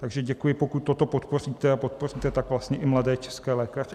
Takže děkuji, pokud toto podpoříte, a podpoříte tak vlastně i mladé české lékaře.